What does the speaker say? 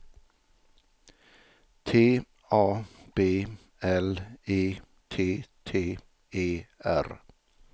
T A B L E T T E R